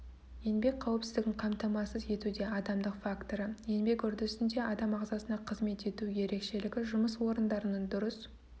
еңбек қауіпсіздігін қамтамасыз етуде адамдық факторы еңбек үрдісінде адам ағзасына қызмет ету ерекшелігі жұмыс орындарының дұрыс